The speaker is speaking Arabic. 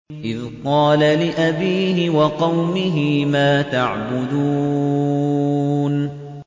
إِذْ قَالَ لِأَبِيهِ وَقَوْمِهِ مَا تَعْبُدُونَ